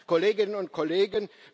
Kolleginnen und Kollegen!